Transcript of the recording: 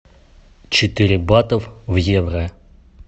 четыре бата в евро